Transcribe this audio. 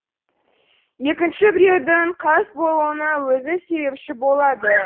екінші біреудің қас болуына өзі себепші болады